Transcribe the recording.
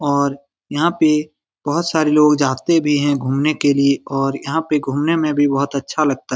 और यहाँ पे बहुत सारे लोग जाते भी हैं घुमने के लिए और यहाँ पे घुमने में भी बहुत अच्छा लगता है।